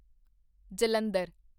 Jalandhar